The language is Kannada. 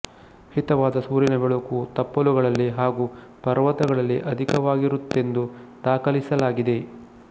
ಹಿತವಾದ ಸೂರ್ಯನ ಬೆಳಕು ತಪ್ಪಲುಗಳಲ್ಲಿ ಹಾಗು ಪರ್ವತಗಳಲ್ಲಿ ಅಧಿಕವಾಗಿರುತ್ತದೆಂದು ದಾಖಲಿಸಲಾಗಿದೆ